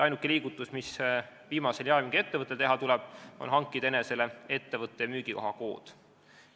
Ainuke liigutus, mis viimasel jaemüügiettevõttel teha tuleb, on hankida enesele ettevõtte müügikoha kood.